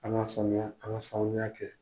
An ka sanuya an ka sanuya kɛ.